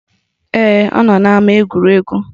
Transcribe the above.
Ee, ọ nọ n'ama egwuregwu